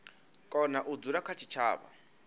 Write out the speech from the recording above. kona u dzula kha tshitshavha